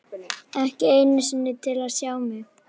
Ekki einu sinni til að sjá mig.